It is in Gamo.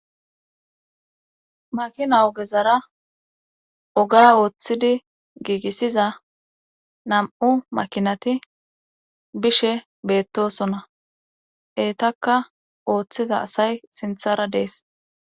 makina ogezara oga ooththidi giigissiza nam7u makinati bishe beettosona eetaka ooththiza asay sinthara dees